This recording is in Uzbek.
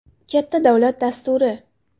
Katta davlat dasturi.